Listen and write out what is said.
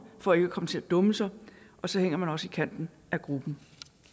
for ikke komme til at dumme sig og så hænger man også i kanten af gruppen